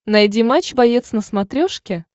найди матч боец на смотрешке